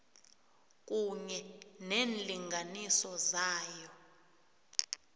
kunye neenlinganiso zayo